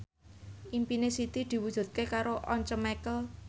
impine Siti diwujudke karo Once Mekel